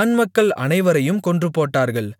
ஆண்மக்கள் அனைவரையும் கொன்றுபோட்டார்கள்